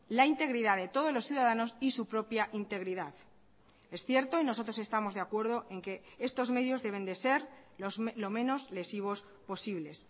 la integridad de todos los ciudadanos y su propia integridad es cierto y nosotros estamos de acuerdo en que estos medios deben de ser lo menos lesivos posibles